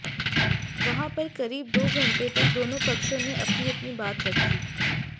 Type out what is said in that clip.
वहां पर करीब दो घंटे तक दोनों पक्षों ने अपनी अपनी बात रखी